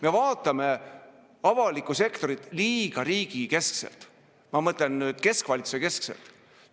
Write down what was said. Me vaatame avalikku sektorit liiga riigikeskselt, ma mõtlen, et keskvalitsusekeskselt.